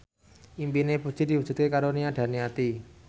impine Puji diwujudke karo Nia Daniati